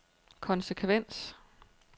konsekvens